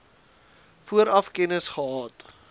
vooraf kennis gehad